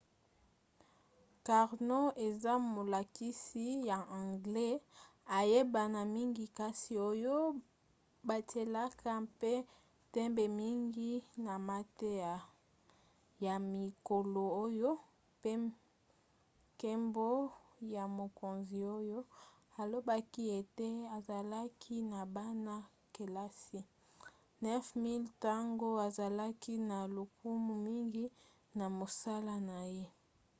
karno eza molakisi ya anglais ayebana mingi kasi oyo batielaka mpe ntembe mingi na mateya ya mikolo oyo mpe nkembo ya mokonzi oyo alobaki ete azalaki na bana-kelasi 9 000 ntango azalaki na lokumu mingi na mosala na ye